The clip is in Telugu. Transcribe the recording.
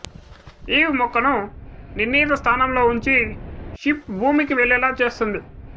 ఈవ్ మొక్కను నిర్ణీత స్థానంలో ఉంచి షిప్ భూమికి వెళ్ళేలా చేస్తుంది